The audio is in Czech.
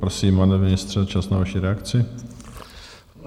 Prosím, pane ministře, čas na vaši reakci.